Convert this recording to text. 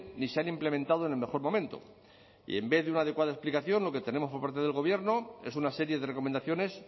ni se han implementado en el mejor momento y en vez de una adecuada explicación lo que tenemos por parte del gobierno es una serie de recomendaciones